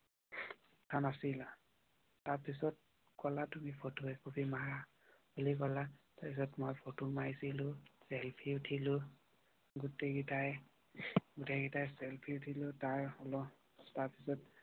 কাম অচিলা। তাৰ পিছত কলা তুমি ফটো একপি মাৰা বুলি কলা। তাৰ পিছত মই ফটো মাৰিছিল সেলফি উঠিল গোটেই কেইটাই চেলফি উঠিলো।